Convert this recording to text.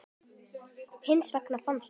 Hins vegar fannst